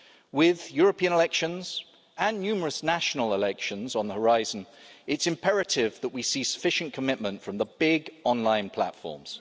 With the European elections and numerous national elections on the horizon, it is imperative that we see sufficient commitment from the big online platforms.